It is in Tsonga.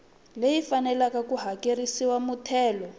leyi faneleke ku hakerisiwa muthelo